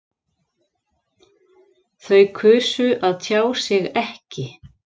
Þau kusu að tjá sig ekki